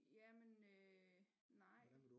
Ja men øh nej